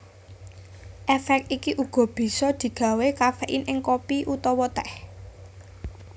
Èfék iki uga bisa digawé kaféin ing kopi utawa tèh